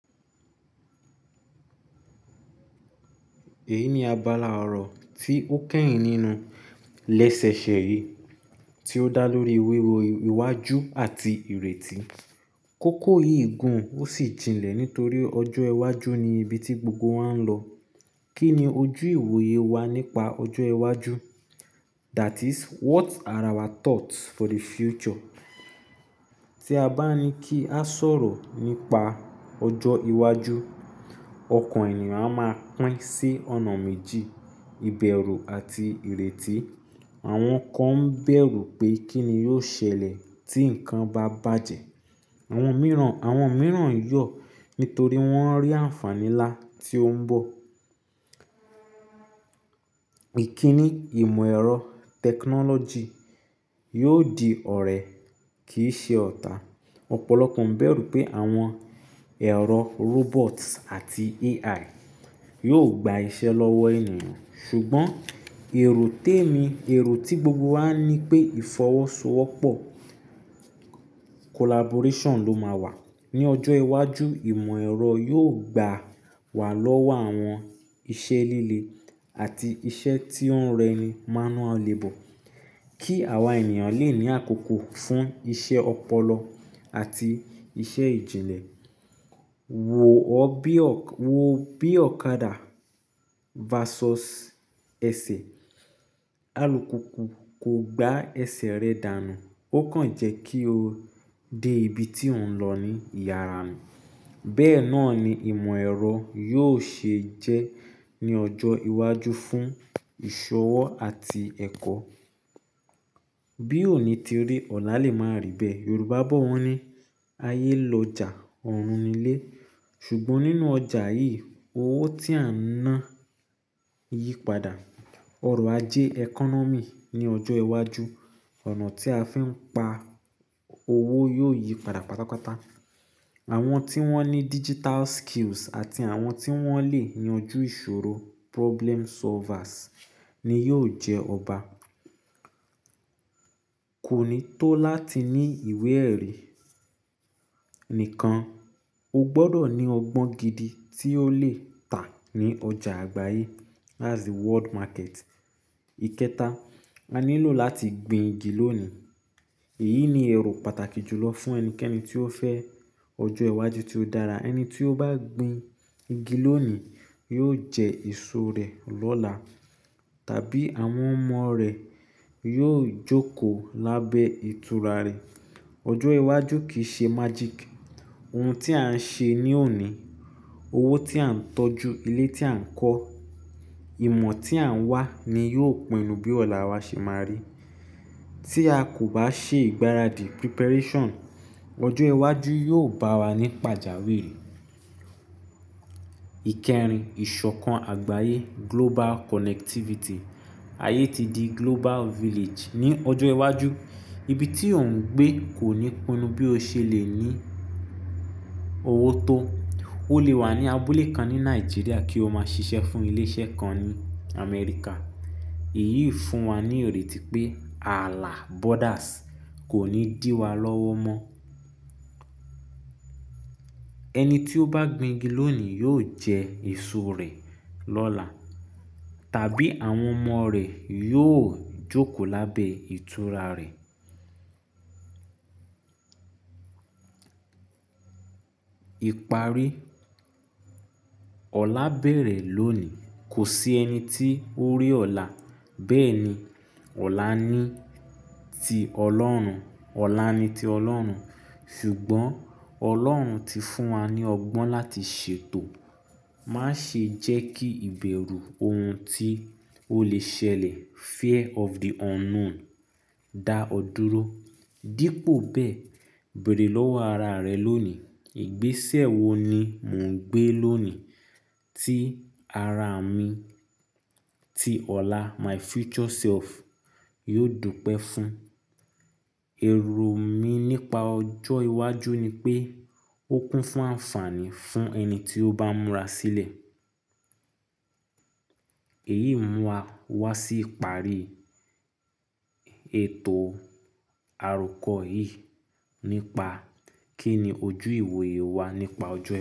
Èyí ni abala ọ̀rọ̀ tí ó kẹ́yìn nínú lẹsẹsẹ yìí tí ó dá lórí wíwo iwájú àti ìrètí. Kókó yìí gùn ó sì tinlẹ̀ nítorí ọjọ́ iwájú ni ibi tí gbogbo wa ń lọ. Kí ni ojú ìwòye wa nípa ọjọ́ iwájú? That is what are our thoughts for the future? Tí a bá ní kí a sọ̀rọ̀ nípa ọjọ́ iwájú, ọkàn ènìyàn á máa pín sí ọ̀nà méjì; ìbẹ̀rù àti ìrètí. Àwọn kan bẹ̀rù pé kí ni yóò ṣẹlẹ̀ tí nǹkan bá bàjẹ́. Àwọn mìíràn, àwọn mìíràn yọ̀ nítorí wọ́n rí àǹfàní ńlá tí ó ń bọ̀. Ìkíni ìmọ̀ ẹ̀rọ, technology yóò di ọ̀rẹ́ kì í ṣe ọ̀tá. Ọ̀pọ̀lọpọ̀ ń bẹ̀rù pé àwọn ẹ̀rọ robot àti AI yóò gba iṣẹ́ lọ́wọ́ ènìyàn. Ṣùgbọ́n èrò tèmi, èrò tí gbogbo wa ní pé ìfọwọ́sowọ́pọ̀, collaboration ló máa wà. Ni ọjọ́ iwájú, ìmọ̀ ẹ̀rọ yóò gbà wà lọ́wọ́ àwọn iṣẹ́ líle àti iṣẹ́ tí ó ń rẹni, manual labor, kí àwa ènìyàn lè ní àkókò fún iṣẹ́ ọpọlọ àti iṣẹ́ ìjìnlẹ̀. Wo bí ọ̀kadà versus ẹsẹ̀. Alùpùpù kò gba ẹsẹ̀ rẹ dànù, ó kàn jẹ́ kí o dé ibi tí ò ń lọ ní ìyàrá nu. Bẹ́ẹ̀ náà ni ìmọ̀ ẹ̀rọ yóò ṣe jẹ́ ní ọjọ́ iwájú fún ìṣọwọ́ àti ẹ̀kọ́. Bí òní ti rí, ọ̀la lè máa rí bẹ́ẹ̀. Yorùbá bọ̀ wọ́n ní, "Ayé lọjà, ọ̀run ni ilé." Ṣùgbọ́n nínú ọjà yìí, owó tí a ń ná yípadà. Ọrọ̀ ajé economy ní ọjọ́ iwájú, ọ̀nà tí a fi ń pa owó yóò yípadà pátápátá. Àwọn tí wọ́n ní digital skills àti àwọn tí wọ́n lè yanjú ìṣòro, problem solvers ni yóò jẹ ọba. Kò ní tó láti ní ìwé ẹ̀rí nìkan, o gbọdọ̀ ní ọgbọ́n gidi tí ó lè tà ní ọjà àgbáyé, that's the world market. Ìkẹta, a nílò láti gbin igi lónìí. Èyí ni ẹ̀rù pàtàkì jùlọ fún ẹnikẹ́ni tí ó fẹ́ ọjọ́ iwájú tí ó dára. Ẹni tí ó bá gbin igi lónìí yóò jẹ èso rẹ̀ lọ́la, tàbí àwọn ọmọ rẹ̀ yóò jókòó lábẹ́ ìtura rẹ̀. Ọjọ́ iwájú kì í ṣe magic. Ohun tí à ń ṣe ní òní, owó tí a ń tọ́jú, ilé tí à ń kọ́, ìmọ̀ tí à ń wá ni yóò pinnu bí ọ̀la wa ṣe máa rí. Tí a kò bá ṣe ìgbáradì, preparation, ọjọ́ iwájú yóò bá wa ní pàjáwìrì. Íkẹrin, ìṣọ̀kan àgbáyé, global connectivity. Ayé ti di global village. Ni ọjọ́ iwájú, ibi tí ò ń gbé kò ní pinnu bí o ṣe lè ní owó tó. O lè wà ní abúlé kan ní Nigeria kí o máa ṣiṣẹ́ fún ilé iṣẹ́ kan ní Amẹ́ríkà. Èyí fún wa ní ìrètí pé ààlà, borders kò ní dí wa lọ́wọ́ mọ́. Ẹni tí ó bá gbin igi lónìí yóò jẹ èso rẹ̀ lọ́la, tàbí àwọn ọmọ rẹ̀ yóò jókòó lábẹ́ ìtura rẹ̀. Ìparí. Ọ̀la bẹ̀rẹ̀ lónìí. Kò sí ẹni tí ó rí ọ̀la. Bẹ́ẹ̀ ni, ọ̀la ni ti Ọlọ́run. Ọ̀la ni ti Ọlọ́run, ṣùgbọ́n Ọlọ́run ti fún wa ní ọgbọ́n láti ṣètò. Má ṣe jẹ́ kí ìbẹ̀rù ohun tí ó lè ṣẹlẹ̀, fear of the unknown, dá ọ dúró. Dípò bẹ́ẹ̀, bẹ̀rẹ̀ lọ́wọ́ ara rẹ lónìí. Ìgbésẹ̀ wo ni mò ń gbé lónìí tí ara mi tí ọ̀la, my future self yóò dúpẹ́ fún. Èrò mí nípa ọjọ́ iwájú ni pé ó kún fún àǹfàní fún ẹni tí ó bá múra sílẹ̀. Èyí mú wa wá sí ìparí ètò àròkọ yìí nípa kí ni ojú ìwòye wa nípa ọjọ́